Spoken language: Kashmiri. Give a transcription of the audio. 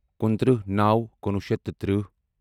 کُنٛترٛہ نَو کُنوُہ شیٚتھ تہٕ تٕرہہ